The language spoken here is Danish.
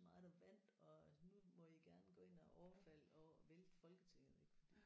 mig der vandt og nu må I gerne gå ind og overfalde og vælte Folketinget ik fordi